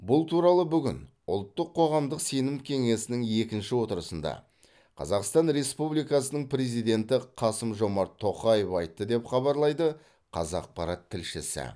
бұл туралы бүгін ұлттық қоғамдық сенім кеңесінің екінші отырысында қазақстан республикасының президенті қасым жомарт тоқаев айтты деп хабарлайды қазақпарат тілшісі